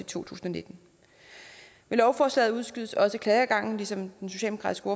tusind og nitten med lovforslaget udskydes også klageadgangen som den socialdemokratiske